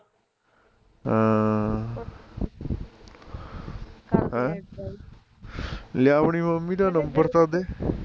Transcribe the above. ਹਾਂ ਹਮ ਲਿਆ ਆਪਣੀ ਮੰਮੀ ਦਾ ਨੰਬਰ ਤਾਂ ਦੇ